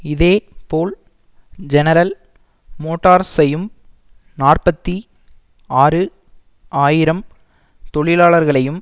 இதே போல் ஜெனரல் மோட்டார்ஸையும் நாற்பத்தி ஆறு ஆயிரம் தொழிலாளர்களையும்